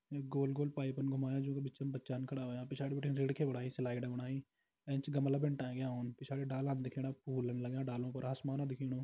यू गोल गोल पाइपन घुमाया जू का बिचम बच्चान खड़ा होयां पिछाड़ी बिटिन रीढ़खि बणाई स्लाइड बणाई एंच गमला भिन टाँकया उन पिछाड़ी डालान दिखेणा फूलन लग्यां डालु पर आसमान दिखेणु।